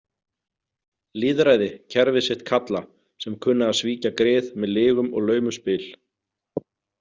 Lýðræði kerfið sitt kalla sem kunna að svíkja grið með lygum og laumuspil.